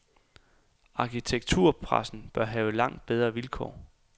Arkitekturpressen bør have langt bedre vilkår.